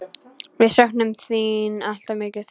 Við söknum þín alltof mikið.